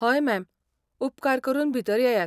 हय, मॅम, उपकार करून भितर येयात.